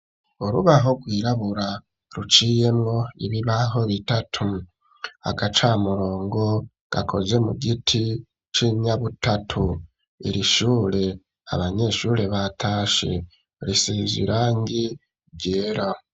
Urubaho rwirabura ruciyemwo ibibaho bitatu agacamurongo gakozwe mu giti c'inyabutatu irishure abanyeshure batashe risize irangi ryera